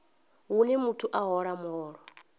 hune muthu a hola muholo